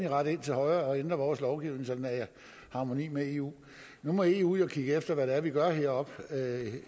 rette ind til højre og ændre vores lovgivning så den er i harmoni med eu nu må eu jo kigge efter hvad vi gør heroppe